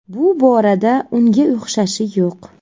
Bu borada unga o‘xshashi yo‘q.